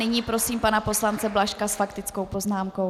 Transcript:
Nyní prosím pana poslance Blažka s faktickou poznámkou.